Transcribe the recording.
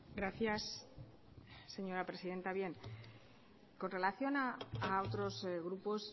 gracias señora presidenta con relación a otros grupos